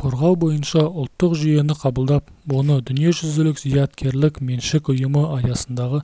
қорғау бойынша ұлттық жүйені қабылдап оны дүниежүзілік зияткерлік меншік ұйымы аясындағы